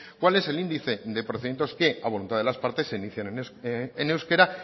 cuál es el índice de procedimientos que a voluntad de las partes se inician en euskera